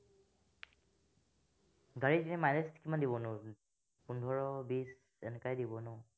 গাড়ী এনে mileage কিমান দিব নো পোন্ধৰ বিশ এনেকুৱা দিব ন